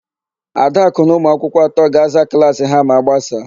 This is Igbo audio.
Adakụ na ụmụakwụkwọ atọ ga-aza klaasị ha ma a gbasaa.